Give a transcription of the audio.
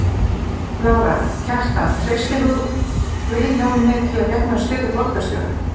Lára: Kjartan treystir þú Vilhjálmi til að gegna stöðu borgarstjóra?